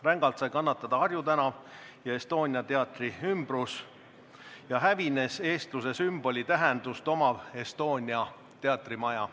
Rängalt sai kannatada Harju tänav ja Estonia teatri ümbrus, hävis eestluse sümboli tähendust omav Estonia teatrimaja.